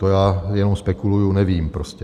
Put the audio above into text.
To já jenom spekuluji, nevím prostě.